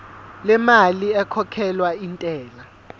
lemali ekhokhelwa intela